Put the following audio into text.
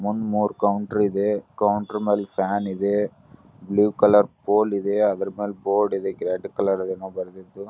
ಮುಂದ್ ಮೂರ್ ಕೌಂಟರ್ ಇದೆ ಕೌಂಟರ್ ಮೇಲೆ ಫ್ಯಾನ್ ಇದೆ ಬ್ಲೂ ಕಲರ್ ಪೋಲ್ ಇದೆ ಅದ್ರ ಮೇಲೆ ಬೋರ್ಡ್ ಇದೆ ರೆಡ್ ಕಲರದು ಏನೋ ಬರದಿದ್ದು.